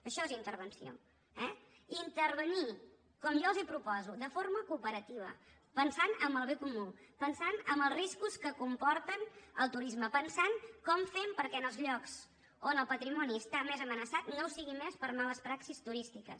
això és intervenció eh intervenir com jo els proposo de forma cooperativa pensant en el bé comú pensant en els riscos que comporten el turisme pensant com ho fem perquè en els llocs on el patrimoni està més amenaçat no ho sigui més per males praxis turístiques